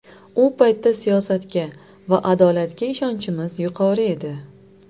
U paytda siyosatga va adolatga ishonchimiz yuqori edi.